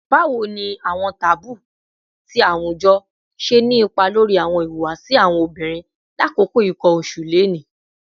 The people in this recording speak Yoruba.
Bawo ni awọn taboo ti awujọ ṣe ni ipa lori awọn ihuwasi awọn obinrin lakoko nkan oṣu loni?